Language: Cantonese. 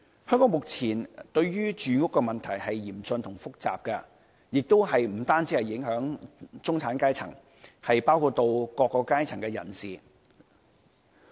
香港目前面對的住屋問題是嚴峻和複雜的，不但影響中產階層，亦影響各個階層人士。